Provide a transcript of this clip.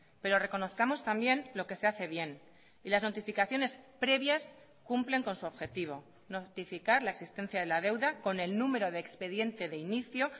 pero reconozcamos también lo que se hace bien y las notificaciones previas cumplen con su objetivo notificar la existencia de la deuda con el número de expediente de inicio